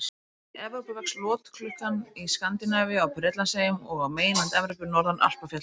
Í Evrópu vex lotklukkan í Skandinavíu, á Bretlandseyjum og á meginlandi Evrópu, norðan Alpafjalla.